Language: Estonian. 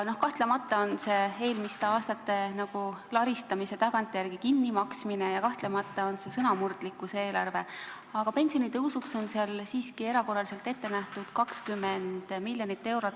Kahtlemata on see eelmiste aastate laristamise tagantjärele kinnimaksmine ja kahtlemata on see sõnamurdlikkuse eelarve, aga pensionitõusuks on seal siiski erakorraliselt ette nähtud 20 miljonit eurot.